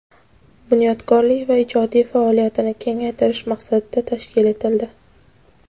bunyodkorlik va ijodiy faoliyatini kengaytirish maqsadida tashkil etildi.